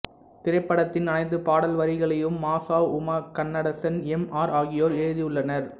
திரைப்படத்தின் அனைத்து பாடல் வரிகளையும் மாசா உமா கன்னடசன் எம் ஆர் ஆகியோர் எழுதியுள்ளனர்